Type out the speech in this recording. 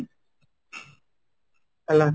ହେଲା